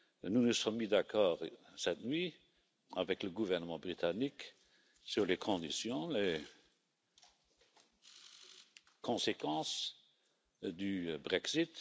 Nous nous sommes mis d'accord cette nuit, avec le gouvernement britannique, sur les conditions et les conséquences du Brexit.